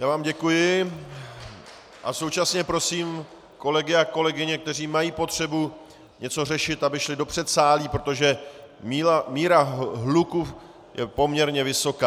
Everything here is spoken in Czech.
Já vám děkuji a současně prosím kolegy a kolegyně, kteří mají potřebu něco řešit, aby šli do předsálí, protože míra hluku je poměrně vysoká.